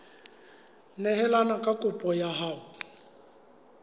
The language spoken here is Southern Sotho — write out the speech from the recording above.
neelane ka kopo ya hao